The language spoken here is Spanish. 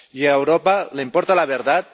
Y a Europa, ¿le importa la verdad?